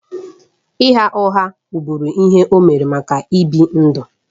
Ịgha ụgha wụ́bụ́ru ihe o mere maka ịbi ndụ.